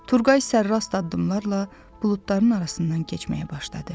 Turqay sərrast addımlarla buludların arasından keçməyə başladı.